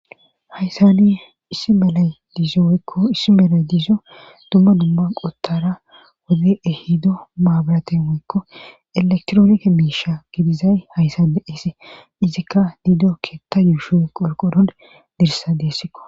Haysani issi melay diizo oykko issi melay diizso dumma dumma qottara wodi ehido maabaraten woykko elektroonke miisha gidizay hayssa de eesi izikka diido keetta yuushoy qorqodon dirsa deessikko